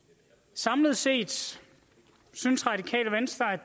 samlet set synes radikale venstre at